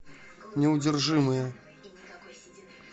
неудержимые